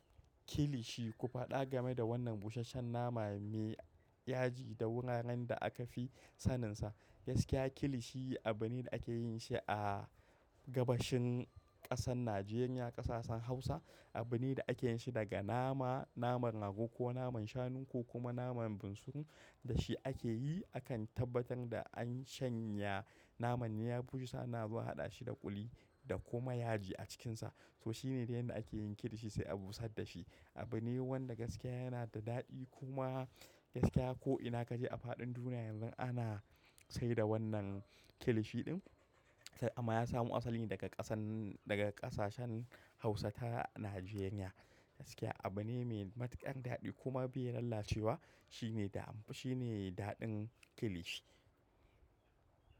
Kilishi, ku faɗa game da wannan busasshen nama mai yaji da wuraren da aka fi saninsa. Gaskiya kilishi abune da ake yin shi a gabashin ƙasar Najeriya, ƙasashen Hausa. Abune da ake yin shi daga nama, naman rago ko naman shanu ko kuma naman bunsuru. Da shi ake yi, akan tabbatar da an shanya naman ya bushe, sannan zuwa haɗa shi da kuli da kuma yaji a cikinsa. To shi ne dai abin da ake yin kilishi, sai a busar da shi. Abune wanda gaskiya yana da daɗi kuma gaskiya ko ina ka je a faɗin duniya yanzu ana saida wannan kilishi ɗin. Amma ya samu asali ne daga ƙasan, daga ƙasashen Hausata a Najeriya. Gaskiya abune mai matuƙar daɗi kuma bai lalace wa. Shi ne daɗin kilishi.